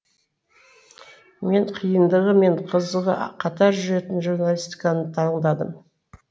мен қиындығы мен қызығы қатар жүретін журналистиканы таңдадым